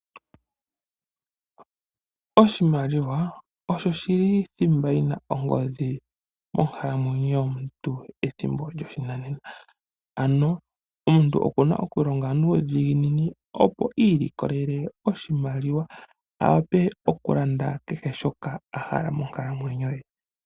Oshimaliwa osho shili thimba yi na ongodhi monkalamwenyo yomuntu methimbo lyoshinanena. Ano omuntu oku na oku longa nuudhiginini opo a I ilikolele oshimaliwa a wape okulanda kehe shoka a hala monkalamwenyo ye.